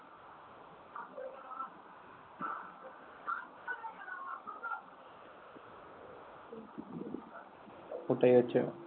ওটাই হচ্ছে।